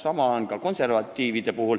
Sama on ka konservatiividega.